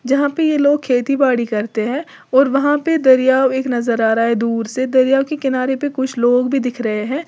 जहां पे ये लोग खेती बाड़ी करते हैं और वहां पे दरिया एक नजर आ रहा है दूर से दरिया के किनारे पे कुछ लोग भी दिख रहे हैं।